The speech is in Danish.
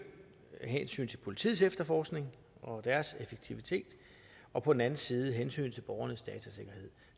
af hensyn til politiets efterforskning og deres effektivitet og på den anden side hensynet til borgernes datasikkerhed